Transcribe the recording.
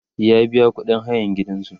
ya biya ƙuɗin hayan gidansu